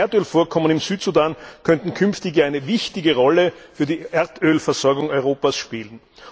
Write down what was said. Die riesigen Erdölvorkommen im Südsudan könnten künftig eine wichtige Rolle für die Erdölversorgung Europas spielen.